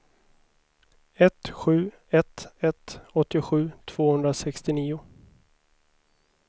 ett sju ett ett åttiosju tvåhundrasextionio